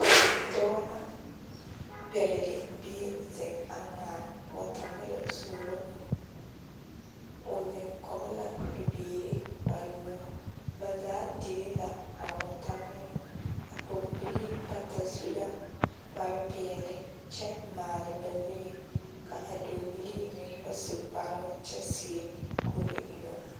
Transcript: Dɔɔ la pɛgele bie zeŋ a ŋmaa wɔtamɛlɔ suuro o, o zeŋ kɔge la bibiiri bayoɔbo, ba zaa dire la a wɔtamɛlɔ, a pɔgebilii bata su la kpare peɛle kyɛ maale ba zuree ka a dɔɔbilii meŋ ba su kparoo kyɛ seɛ kuree yoŋ.